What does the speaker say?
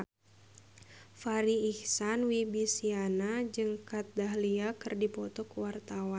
Farri Icksan Wibisana jeung Kat Dahlia keur dipoto ku wartawan